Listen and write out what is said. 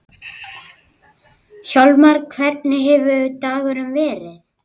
Gerist eitthvað svipað í kvöld?